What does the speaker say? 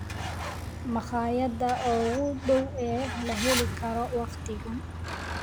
makhaayadaha ugu dhow ee la heli karo waqtigan